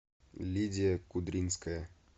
лидия кудринская